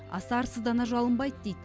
аса арсыздана жалынбайды дейді